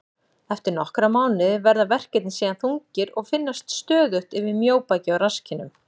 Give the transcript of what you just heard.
Eftir nokkra mánuði verða verkirnir síðan þungir og finnast stöðugt yfir mjóbaki og rasskinnum.